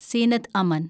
Zeenath Aman